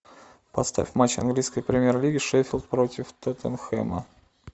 поставь матч английской премьер лиги шеффилд против тоттенхэма